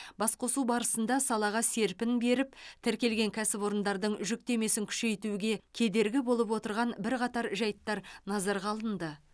басқосу барысында салаға серпін беріп тіркелген кәсіпорындардың жүктемесін күшейтуге кедергі болып отырған бірқатар жайттар назарға алынды